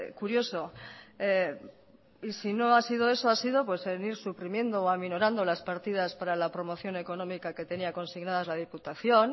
curioso y si no ha sido eso ha sido pues el ir suprimiendo o aminorando las partidas para la promoción económica que tenía consignadas la diputación